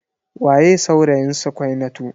Waye saurayin Sukainatu?